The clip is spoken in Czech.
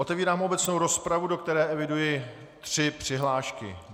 Otevírám obecnou rozpravu, do které eviduji tři přihlášky.